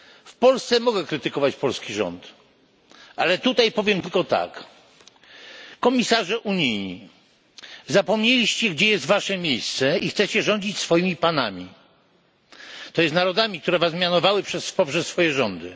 W Polsce mogę krytykować polski rząd, ale tutaj powiem tylko tak komisarze unijni, zapomnieliście gdzie jest wasze miejsce i chcecie rządzić swoimi panami, to jest narodami, które was mianowały poprzez swoje rządy.